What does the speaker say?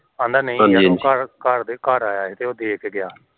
ਆਹਂਦਾ ਨਹੀਂ ਘਰ ਘਰ ਆਇਆ ਸੀ ਤੇ ਦੇ ਕੇ ਗਿਆ